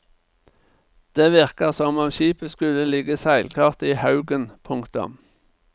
Det virker som om skipet skulle ligge seilklart i haugen. punktum